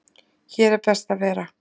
Hér er best að vera